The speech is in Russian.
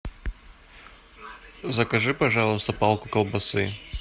закажи пожалуйста палку колбасы